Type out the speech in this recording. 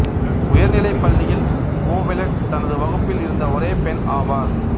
உயர்நிலைப் பள்ளியில் ஓவெலட் தனது வகுப்பில் இருந்த ஒரே பெண் ஆவார்